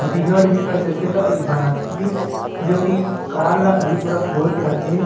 बिगड़ विगड़ जाथे त इ ल बनाथे जो की कार ल अभी पूरा खोल के रखे हे।